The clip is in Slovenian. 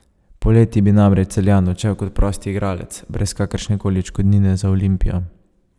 Poleti bi namreč Celjan odšel kot prost igralec, brez kakršne koli odškodnine za Olimpijo.